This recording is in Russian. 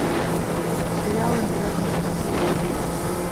сериал интерны смотреть